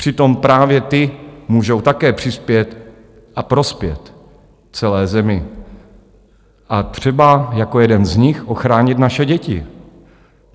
Přitom právě ty můžou také přispět a prospět celé zemi a třeba jako jeden z nich ochránit naše děti.